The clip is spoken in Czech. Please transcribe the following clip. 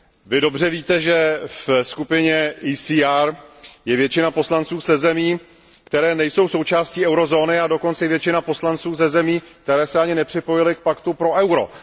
Vy dobře víte, že ve skupině ECR je většina poslanců ze zemí, které nejsou součástí eurozóny a dokonce většina poslanců ze zemí, které se ani nepřipojily k paktu pro euro.